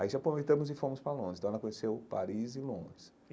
Aí já aproveitamos e fomos para Londres, então ela conheceu Paris e Londres.